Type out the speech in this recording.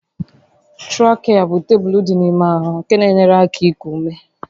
Trakịa bụ tuubu dị n'ime ahụ nke na-enyere aka iku ume